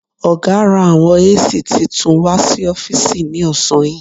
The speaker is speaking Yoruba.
Ọ̀gá ra àwọn AC titun wà sí ọ́fìsì ní ọ̀sán yìí.